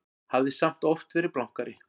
Hafði samt oft verið blankari.